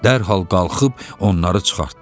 Dərhal qalxıb onları çıxartdı.